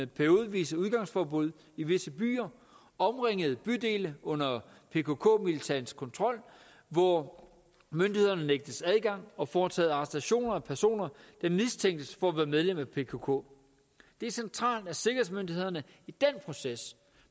periodevise udgangsforbud i visse byer omringet bydele under pkk militantes kontrol hvor myndighederne nægtes adgang og foretaget arrestationer af personer der mistænkes for at være medlemmer af pkk det er centralt at sikkerhedsmyndighederne i den proces